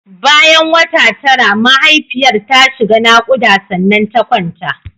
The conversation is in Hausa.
Bayan wata tara mahaifiyar ta shiga naƙuda sannan ta kwanta.